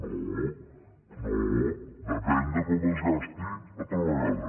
no no depèn de com es gasti una altra vegada